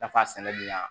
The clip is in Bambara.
Nafa sɛnɛ bɛ yan